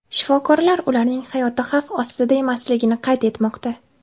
Shifokorlar ularning hayoti xavf ostida emasligini qayd etmoqda.